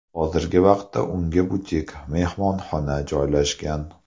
Hozirgi vaqtda unda butik-mehmonxona joylashgan.